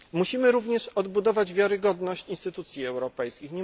Musimy również odbudować wiarygodność instytucji europejskich.